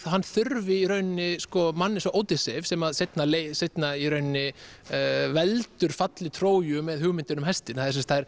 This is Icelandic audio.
hann þurfi mann eins og Ódysseif sem seinna seinna veldur falli Tróju með hugmyndinni um hestinn